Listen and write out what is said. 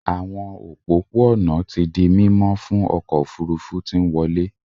Àwọn òpópó-ònà tí dì mimo fún ọkọ òfurufú tí nwọle.